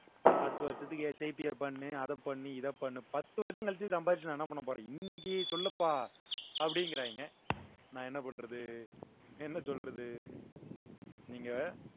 பத்து வருஷத்துக்கு பண்ணு அதைப்பண்ணு இதைப்பண்ணு பத்து வருஷம் கழிச்சு சம்பாதிச்சு நான் என்ன பண்ண போறேன் இன்னைக்கு சொல்லுப்பா அப்படிங்கறாங்க நான் என்ன பண்றது என்ன சொல்றது நீங்க